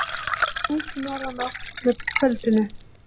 Snýst í norðanátt með kvöldinu